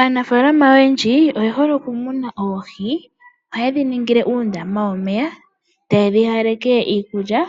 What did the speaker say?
Aanafaalama oyendji oyehole okumuna oohi . Ohayedhi ningile uundama womeya, tayedhi haaleke iikulya